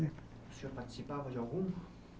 O senhor participava de algum?